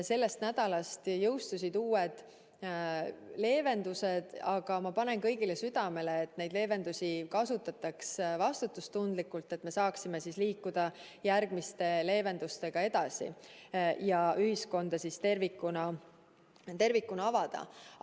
Sellest nädalast jõustusid uued leevendused, aga ma panen kõigile südamele, et neid leevendusi kasutataks vastutustundlikult, et me saaksime liikuda järgmiste leevendustega edasi ja ühiskonna tervikuna avada.